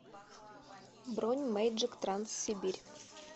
бронь мейджик транс сибирь